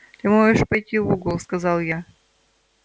ты можешь пойти в угол сказал я